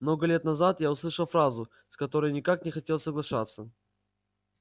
много лет назад я услышал фразу с которой никак не хотел соглашаться